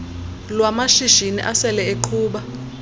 lwamashishini asele eqhuba